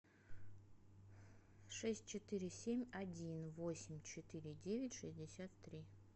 шесть четыре семь один восемь четыре девять шестьдесят три